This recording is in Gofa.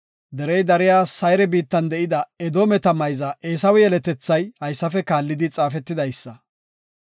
Derey dariya Sayre biittan de7ida Edoometa mayza Eesawe yeletethay haysafe kaallidi xaafetidaysa;